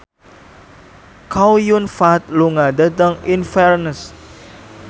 Chow Yun Fat lunga dhateng Inverness